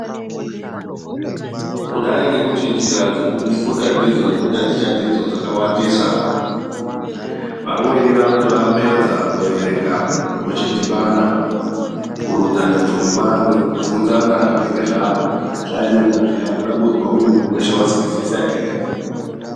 Kudai ngekuti njira dzekufunda ndidzo nekutaticha ndidzo dzakawandisa. Vamweni vanoti vapedza kuverenga vochidhibana kurodzane pfungwa nekubvunzana zvinenge zvaverengwa zviya, kuda kuzwa kuti muntu weshe azwisisa ere.